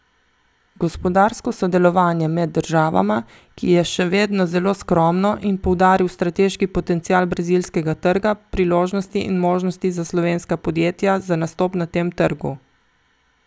Gospodarsko sodelovanje med državama, ki je še vedno zelo skromno in poudaril strateški potencial brazilskega trga, priložnosti in možnosti za slovenska podjetja za nastop na tem trgu.